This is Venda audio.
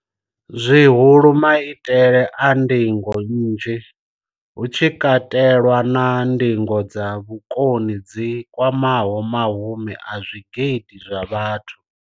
Zwihulu, maitele a ndingo nnzhi, hu tshi katelwa na ndingo dza vhukoni dzi kwamaho mahumi a zwigidi zwa vhathu.